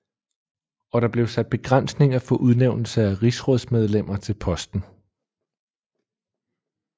Og der blev sat begrænsninger for udnævnelse af rigsrådsmedlemmer til posten